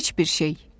Heç bir şey.